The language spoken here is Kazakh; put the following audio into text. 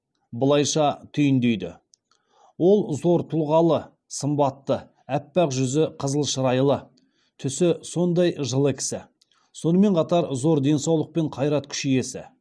былайша түйіндейді ол зор тұлғалы сымбатты аппақ жүзі қызыл шырайлы түсі сондай жылы кісі сонымен қатар зор денсаулық пен қайрат күш иесі